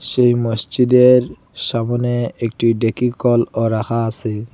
সেই মসজিদের সামনে একটি ডেকি কলও রাখা আসে।